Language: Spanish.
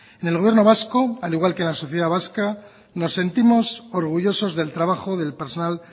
en el gobierno vasco al igual que en la sociedad vasca nos sentimos orgullosos del trabajo del personal